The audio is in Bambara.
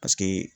Paseke